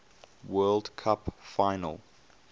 world cup final